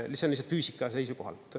See on lihtsalt füüsika seisukohalt.